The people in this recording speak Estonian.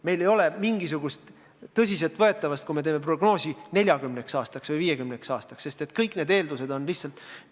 Meil ei ole mingisugust tõsiseltvõetavust, kui teeme prognoose 40 aastaks või 50 aastaks, sest kõik need eeldused on lihtsalt spekulatiivsed.